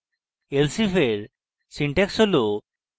elsif এর syntax হল